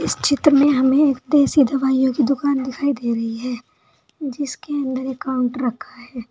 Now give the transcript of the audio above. इस चित्र में हमें देसी दवाइयों की दुकान दिखाई दे रही है जिसके अंदर एक काउंटर रखा है।